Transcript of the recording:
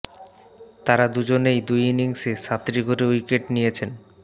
তাঁরা দু জনেই দুই ইনিংসে সাতটি করে উইকেট নিয়েছেন